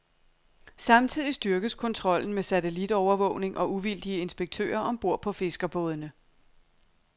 Samtidig styrkes kontrollen med satellitovervågning og uvildige inspektører om bord på fiskerbådene.